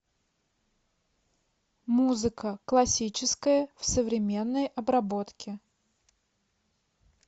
музыка классическая в современной обработке